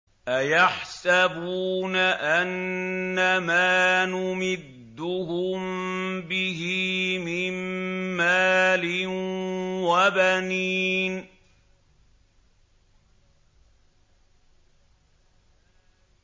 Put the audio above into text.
أَيَحْسَبُونَ أَنَّمَا نُمِدُّهُم بِهِ مِن مَّالٍ وَبَنِينَ